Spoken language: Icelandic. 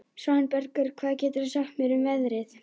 Svanbergur, hvað geturðu sagt mér um veðrið?